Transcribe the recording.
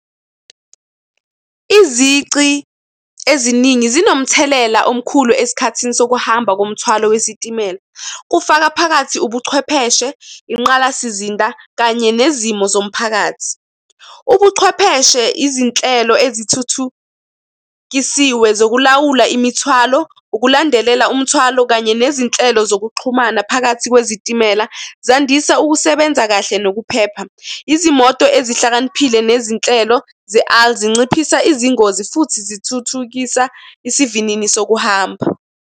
Izici eziningi zinomthelela omkhulu esikhathini sokuhamba komthwalo wesitimela, kufaka phakathi ubuchwepheshe, inqalasizinda kanye nezimo zomphakathi. Ubuchwepheshe, izinhlelo eziwuthuthukisiwe zokulawula imithwalo, ukulandelela umthwalo, kanye nezinhlelo zokuxhumana phakathi kwezitimela, zandisa ukusebenza kahle nokuphepha. Izimoto ezihlakaniphile nezinhlelo zinciphisa izingozi futhi zithuthukisa isivinini sokuhamba.